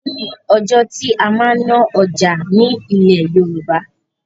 O ni ọjọ́ tí a máa ń ná ọjà ni ilẹ̀ Yorùbá.